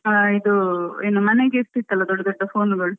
ಆ ಇದು ಏನು ಮನೆಗೆ ಇರ್ತಿತ್ತಲ್ಲ ದೊಡ್ಡ ದೊಡ್ಡphoneಗಳು.